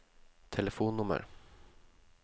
telefonnummer